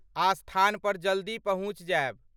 आ स्थान पर जल्दी पहुँचि जायब।